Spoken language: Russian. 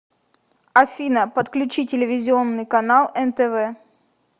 афина подключи телевизионный канал нтв